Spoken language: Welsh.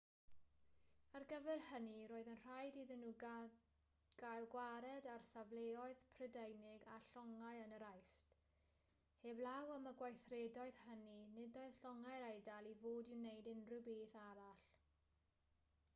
ar gyfer hynny roedd yn rhaid iddyn nhw gael gwared ar safleoedd prydeinig a llongau yn yr aifft heblaw am y gweithredoedd hynny nid oedd llongau'r eidal i fod i wneud unrhyw beth arall